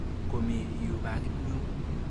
Komi yu pakit nyu.